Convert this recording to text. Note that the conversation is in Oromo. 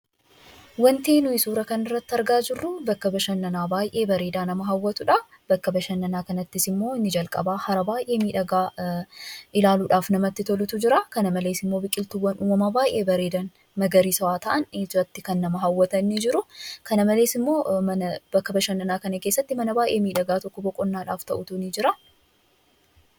Waanti nuyi suura kana irratti argaa jirru, bakka bashannanaa baayyee bareedaa nama hawwatudha. Bakka bashannanaa kanatti immoo hara baayyee miidhagaa ilaaluudhaaf namatti tolutu jiraa kana malees biqiltuuwwan uumamaa baayyee bareedan, magariisawaa ta'an ijatti kan nama hawwatan ni jiruu kana malees bakka bashannanaa kana keessatti mana baayyee miidhagaa tokko boqonnaadhaaf ta'u ni jira.